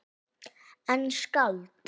En skáld?